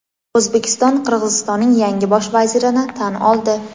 O‘zbekiston Qirg‘izistonning yangi Bosh vazirini tan oldi.